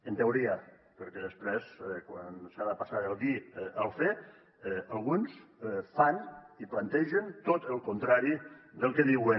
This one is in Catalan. en teoria perquè després quan s’ha de passar del dir al fer alguns fan i plantegen tot el contrari del que diuen